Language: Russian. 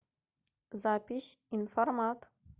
запись информат